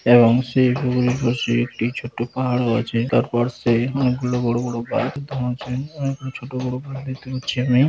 এবং সেই ঘুঘুড়ির পাশে একটি ছোট পাহাড়ও আছে তার পাশে অনেক গুলো বড়ো বড়ো গাছ অনেক গুলো ছোট বড়ো গাছ দেখতে পাচ্ছি ।